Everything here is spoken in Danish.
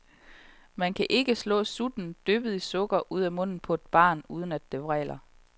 Man kan ikke slå sutten, dyppet i sukker, ud af munden på et barn, uden det vræler.